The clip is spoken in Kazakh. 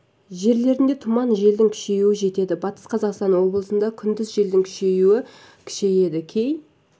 жерлерінде тұман желдің күшеюі жетеді батыс қазақстан облысында күндіз желдің күші күшейеді кей